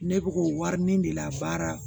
Ne bɛ k'o wari ɲini de la baara